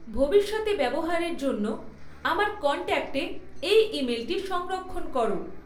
ভবিষ্যতে ব্যবহারের জন্য আমার কন্ট্যাক্টে এই ইমেলটি সংরক্ষণ করো